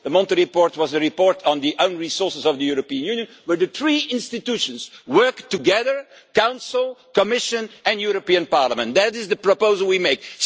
The Monti report was a report on the own resources of the European Union where the three institutions work together the Council, Commission and European Parliament that is the proposal we are making.